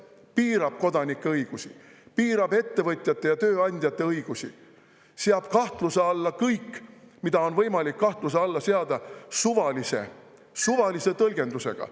See piirab kodanike õigusi, piirab ettevõtjate ja tööandjate õigusi, seab kahtluse alla kõik, mida on võimalik kahtluse alla seada, suvalise tõlgendusega.